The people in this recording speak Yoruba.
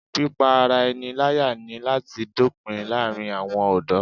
Pípá ara ẹni láyà ní láti dópin láàárín àwọn ọ̀dọ́